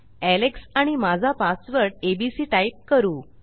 Alex आणि माझा password ABC type करू